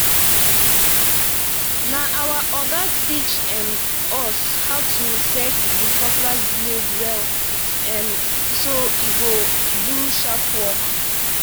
na our oga teach um us how to set the cutlass blade well um so e go do sharp work